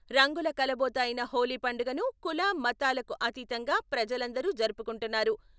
రంగుల కలబోత అయిన హోలీ పండుగను కుల మతాలకు అతీతంగా ప్రజలందరూ జరుపుకుంటున్నారు.